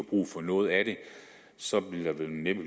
brug for noget af det så ville der vel næppe